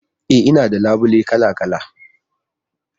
E, Ina da labule kala-kala